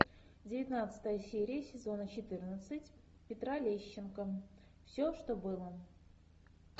девятнадцатая серия сезона четырнадцать петра лещенко все что было